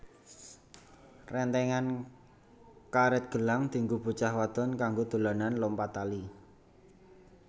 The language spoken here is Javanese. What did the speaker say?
Rentengan karet gelang dienggo bocah wadon kanggo dolanan lompat tali